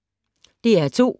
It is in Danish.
DR2